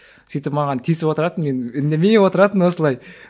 сөйтіп маған тиісіп отыратын мен үндемей отыратынмын осылай